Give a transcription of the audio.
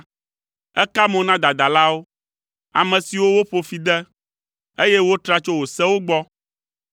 Èka mo na dadalawo, ame siwo woƒo fi de, eye wotra tso wò sewo gbɔ.